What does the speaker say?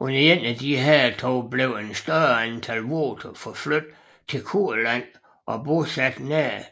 Under et af disse hærtog blev et større antal voter forflyttet til Kurland og bosat nær